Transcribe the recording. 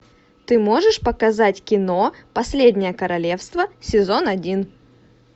ты можешь показать кино последнее королевство сезон один